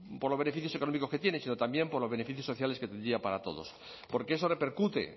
por los beneficios económicos que tienen sino también por los beneficios sociales que tendría para todos porque eso repercute